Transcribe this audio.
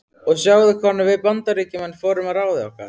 Og sjáðu hvernig við Bandaríkjamenn fórum að ráði okkar.